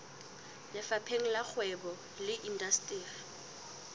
lefapheng la kgwebo le indasteri